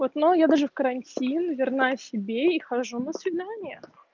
вот но я даже в карантин верна себе и хожу на свидания